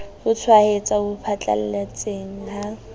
ho tshwaetsa ho phatlalletseng ha